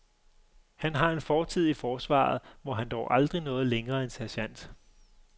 Han har en fortid i forsvaret, hvor han dog aldrig nåede længere end sergent.